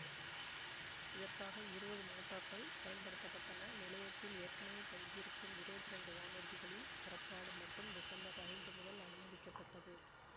இதற்காக இருபது மோட்டார்கள் பயன்படுத்த பட்டன நிலையத்தில் ஏற்கனவே தங்கியிருக்கும் இருபத்தி இரண்டு வானூர்திகளின் புறப்பாடு மட்டும் டிசம்பர் ஐந்து முதல் அனுமதிக்கப்பட்டது